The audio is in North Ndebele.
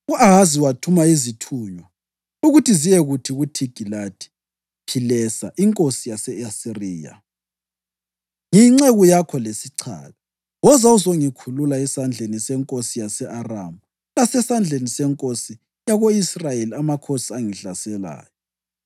U-Ahazi wathuma izithunywa ukuthi ziyekuthi kuThigilathi-Philesa inkosi yase-Asiriya, “Ngiyinceku yakho lesichaka. Woza uzongikhulula esandleni senkosi yase-Aramu lasesandleni senkosi yako-Israyeli, amakhosi angihlaselayo.”